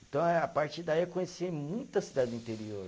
Então eh, a partir daí, eu conheci muita cidade do interior.